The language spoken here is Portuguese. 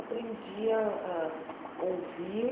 Aprendi a a ouvir.